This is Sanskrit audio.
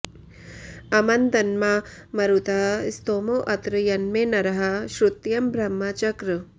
अमन्दन्मा मरुतः स्तोमो अत्र यन्मे नरः श्रुत्यं ब्रह्म चक्र